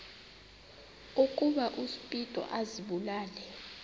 ukuba uspido azibulale